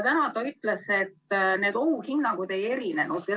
Täna ta ütles, et need ohuhinnangud ei erinenud.